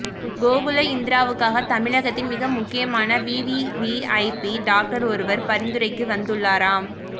கோகுல இந்திராவுக்காக தமிழகத்தின் மிக முக்கியமான விவிவிஐபி டாக்டர் ஒருவர் பரிந்துரைக்கு வந்துள்ளாராம்